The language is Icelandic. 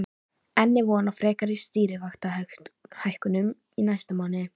En er von á frekari stýrivaxtahækkunum í næsta mánuði?